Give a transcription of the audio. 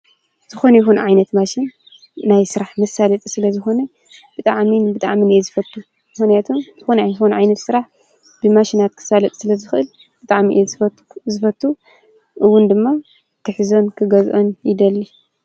ዝኾነ ይኹን ዓይነት ማሽን ናይ ስራሕ ምሳለጢ ስለዝኾነ ብጣዕምን ብጣዕምን እየ ዝፈቱ፡፡ ምሕነያቱ ዝኮነ ይኹን ዓይነት ስራሕ ብማሽናት ክሳለጥ ስለዝኽእል ብጣዕሚ እየ ዝዝፈቱ፡፡ እውን ድማ ክሕዞን ክገዝኦን ይደሊ፡፡